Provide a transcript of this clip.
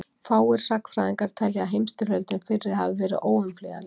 Fáir sagnfræðingar telja að heimsstyrjöldin fyrri hafi verið óumflýjanleg.